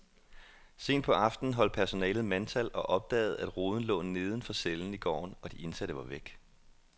Sent på aftenen holdt personalet mandtal og opdagede, at ruden lå neden for cellen i gården, og de indsatte var væk.